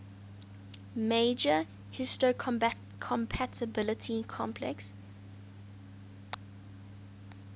major histocompatibility complex